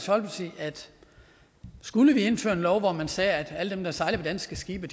skulle vi indføre en lov hvor man sagde at alle dem der sejler på danske skibe